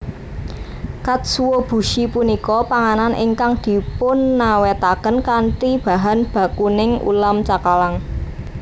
Katsuobushi punika panganan ingkang dipunawètaken kanthi bahan bakuning ulam cakalang